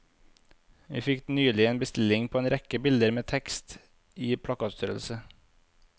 Vi fikk nylig en bestilling på en rekke bilder med tekst i plakatstørrelse.